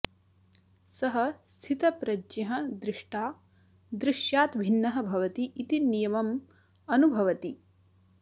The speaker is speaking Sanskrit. सः स्थितप्रज्ञः दृष्टा दृश्यात् भिन्नः भवति इति नियमम् अनुभवति